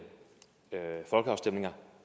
folkeafstemninger